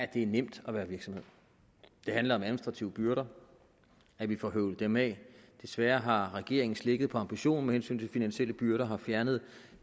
det er nemt at være virksomhed det handler om administrative byrder og at vi får høvlet dem af desværre har regeringen slækket på ambitionen med hensyn til finansielle byrder og har fjernet